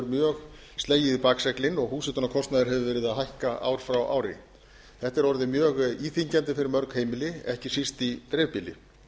mjög slegið í bakseglin og húshitunarkostnaður hefur búið að hækka ár frá ári þetta er orðið mjög íþyngjandi fyrir mörg heimili ekki síst í dreifbýli